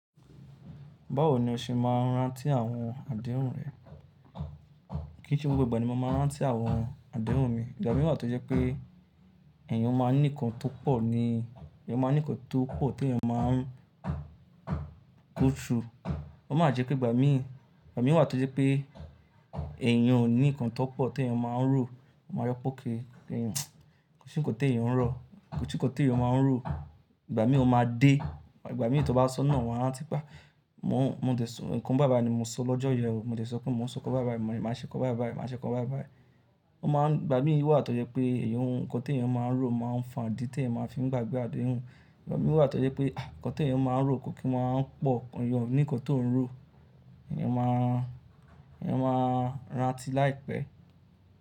Báwo ni o ṣe máa ń rántí àwọn àdéhùn rẹ? Kì í ṣe gbogbo ìgbà ni mo máa ń rántí àwọn àdéhùn mi. Ìgbà mí wà tó jẹ́ pé ẹ̀yàn ó máa ń ní nnkan tó pọ̀ ni, èyàn máa ń ní nnkan tó pọ̀ tí èyàn máa ń kó ṣú. Ó máa jẹ́ pé ìgbà mí, ìgbà mí wà tó jẹ́ pé ẹ̀yàn ò ní nnkan tó pọ̀ tí èyàn máa ń rò, ó máa rọ́pò kí èyàn, kí n si kò tó èyàn ń rọ̀, kí si kò tó èyàn máa ń rò. Ìgbà mí ò máa dé, ìgbà mí tó bá sọ nà wá, rántí pé mò ń dẹ̀sọ́, nnkan bàìbàì ni mo sọ lọ́jọ́ yẹn o, mò dé sọ pé mò ń sọkọ bàìbàì, màá ṣe kọ̀ bàìbàì, màá ṣe kọ̀ bàìbàì. Ó máa ń, ìgbà mí wà tó jẹ́ pé èyàn, nnkan tí èyàn máa ń rò máa ń fà dí tí èyàn máa ń fi gbàgbé àdéhùn. Ìgbà mí wà tó jẹ́ pé àh! Nnkan tí èyàn máa ń rò kò kí máa ń pọ̀. Èyàn ní nnkan tó ń rò, èyàn máa ń rántí láìpẹ́.